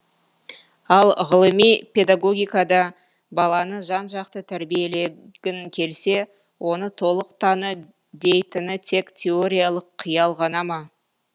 ал ғылыми педагогикада баланы жан жақты тәрбиелегің келсе оны толық таны дейтіні тек теориялық қиял ғана ма